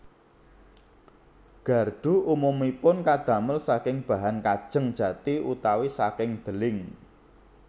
Gardhu umumipun kadamel saking bahan kajeng jati utawi saking deling